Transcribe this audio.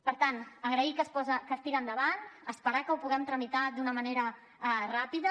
per tant agrair que es tiri endavant esperar que ho puguem tramitar d’una manera ràpida